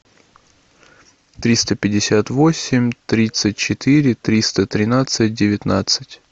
триста пятьдесят восемь тридцать четыре триста тринадцать девятнадцать